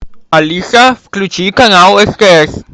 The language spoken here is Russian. алиса включи канал стс